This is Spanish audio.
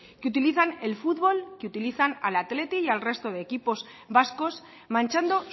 que utilizan el fútbol que utiliza al athletic y al resto de equipos vascos manchando